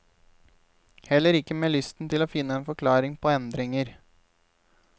Heller ikke med lysten til å finne en forklaring på endringer.